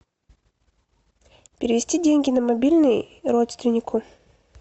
перевести деньги на мобильный родственнику